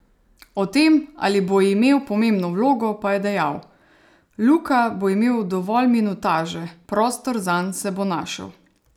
O tem, ali bo imel pomembno vlogo, pa je dejal: "Luka bo imel dovolj minutaže, prostor zanj se bo našel.